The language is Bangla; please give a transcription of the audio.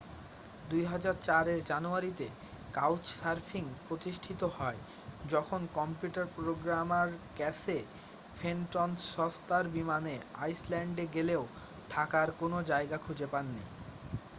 2004-এর জানুয়ারিতে কাউচসার্ফিং প্রতিষ্ঠিত হয় যখন কম্পিউটার প্রোগ্রামার ক্যাসে ফেনটন সস্তার বিমানে আইসল্যান্ডে গেলেও থাকার কোনও জায়গা খুঁজে পাননি